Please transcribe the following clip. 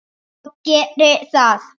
Og geri það.